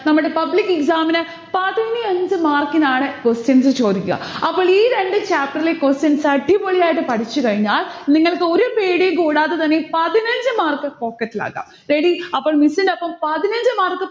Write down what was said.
നമ്മടെ public exam ന് പതിനഞ്ചു mark ഇനാണ് questions ചോദിക്ക. അപ്പോൾ ഈ രണ്ട് chapter ലെ questions അടിപൊളിയായിട്ട് പഠിച്ചുകഴിഞ്ഞാൽ നിങ്ങൾക് ഒരു പേടിയും കൂടാതെ തന്നെ പതിനഞ്ചു mark pocket ൽ ആക്കം. ready? അപ്പോൾ miss നടോപ്പം പതിനഞ്ചു miss